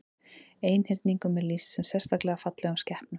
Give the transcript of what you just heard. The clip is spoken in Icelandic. Einhyrningum er lýst sem sérstaklega fallegum skepnum.